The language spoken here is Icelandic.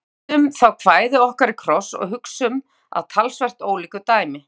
En vendum þá kvæði okkar í kross og hugum að talsvert ólíku dæmi.